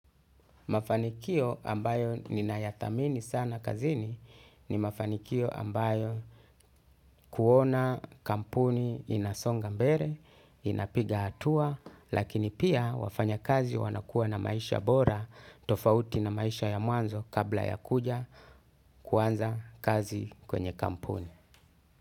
Mafanikio ambayo ninayadhamini sana kazini ni mafanikio ambayo kuona kampuni inasonga mbele, inapiga hatua, lakini pia wafanya kazi wanakua na maisha bora tofauti na maisha ya mwanzo kabla ya kuja kuanza kazi kwenye kampuni.